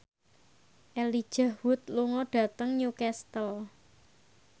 Elijah Wood lunga dhateng Newcastle